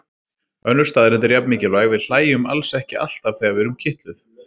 Önnur staðreynd er jafn mikilvæg: Við hlæjum alls ekki alltaf þegar við erum kitluð.